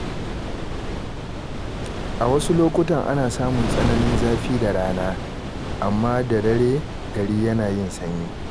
A wasu lokutan ana samun tsananin zafi da rana, amma da dare gari yana yin sanyi.